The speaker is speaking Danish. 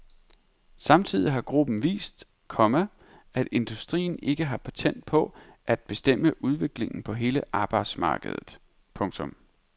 Samtidig har gruppen vist, komma at industrien ikke har patent på at bestemme udviklingen på hele arbejdsmarkedet. punktum